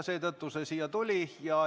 Seetõttu see siia tuli.